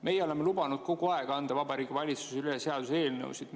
Meie oleme kogu aeg lubanud Vabariigi Valitsusel anda üle seaduseelnõusid.